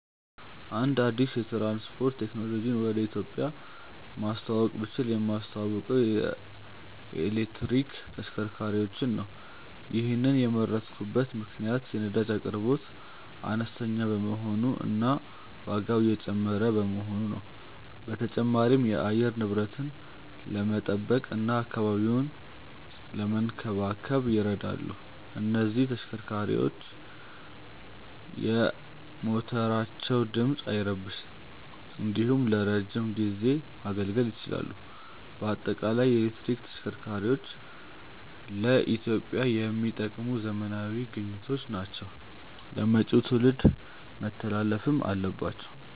አንድ አዲስ የትራንስፖርት ቴክኖሎጂን ወደ ኢትዮጵያ ማስተዋወቅ ብችል የማስተዋውቀው የኤሌክትሪክ ተሽከርካሪዎችን ነው። ይሔንን የመረጥኩበት ምክንያት የነዳጅ አቅርቦት አነስተኛ በመሆኑ እና ዋጋው እየጨመረ በመሆኑ ነው። በተጨማሪም የአየር ንብረትን ለመጠበቅ እና አካባቢን ለመንከባከብ ይረዳሉ። እነዚህ ተሽከርካሪዎች የሞተራቸው ድምፅ አይረብሽም እንዲሁም ለረዥም ጊዜ ማገልገል ይችላሉ። በአጠቃላይ የኤሌክትሪክ ተሽከርካሪዎች ለኢትዮጵያ የሚጠቅሙ ዘመናዊ ግኝቶች ናቸው ለመጪው ትውልድ መተላለፍም አለባቸው።